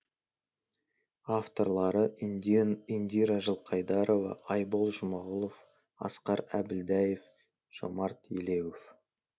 авторлары индира жылқайдарова айбол жұмағұлов асқар әбілдаев жомарт елеуов